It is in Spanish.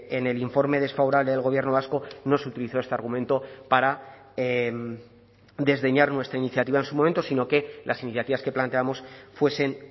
en el informe desfavorable del gobierno vasco no se utilizó este argumento para desdeñar nuestra iniciativa en su momento sino que las iniciativas que planteamos fuesen